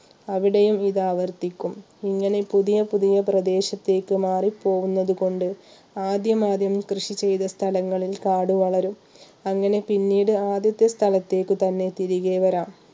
അവിടെയും ഇത് ആവർത്തിക്കും ഇങ്ങനെ പുതിയ പുതിയ പ്രദേശത്തേക്ക് മാറി പോകുന്നതുകൊണ്ട് ആദ്യമാദ്യം കൃഷി ചെയ്ത സ്ഥലങ്ങളിൽ കാട് വളരും അങ്ങനെ പിന്നീട് ആദ്യത്തേ സ്ഥലത്തേക്ക് തന്നെ തിരികെ വരാം